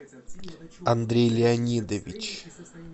андрей леонидович